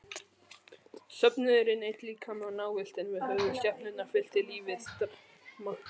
Söfnuðurinn einn líkami og návistin við höfuðskepnurnar fyllti lífið drama.